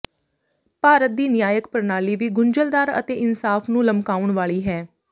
ਭਾਰਤ ਦੀ ਨਿਆਇਕ ਪਣਾਲੀ ਵੀ ਗੁੰਝਲਦਾਰ ਅਤੇ ਇਨਸਾਫ ਨੂੰ ਲਮਕਾਉਣ ਵਾਲੀ ਹੈ